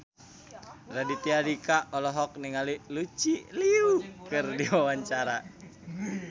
Raditya Dika olohok ningali Lucy Liu keur diwawancara